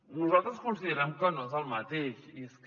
nosaltres considerem que no és el mateix i és que